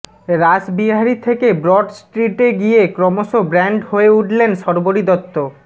রাসবিহারী থেকে ব্রড স্ট্রিটে গিয়ে ক্রমশ ব্র্যান্ড হয়ে উঠলেন শর্বরী দত্ত